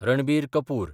Ranbir Kapoor